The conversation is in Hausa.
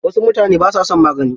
Wasu mutane ba sa son magani.